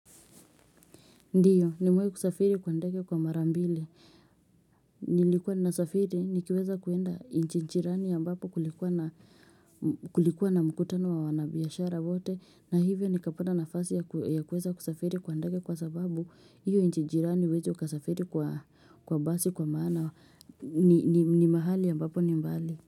Ndiyo nimewai kusafiri kwa ndege kwa mara mbili. Hhh nh Nilikuwa nasafiri ni kiweza kuenda inchi jirani ambapo kulikuwa na mm kulikua na mkutano wa wanabiashara wote. Na hivyo ni kapata nafasi ya eeh kuweza kusafiri kwa ndege kwa sababu hiyo inchijirani huwezi ukasafiri kwa kwa basi kwa maana ni ni ni mahali ambapo ni mbali.